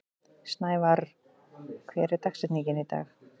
Snævarr, hver er dagsetningin í dag?